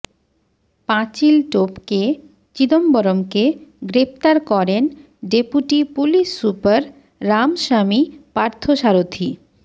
পাঁচিল টপকে চিদম্বরমকে গ্রেফতার করেন ডেপুটি পুলিশসুপার রামস্বামী পার্থসারথি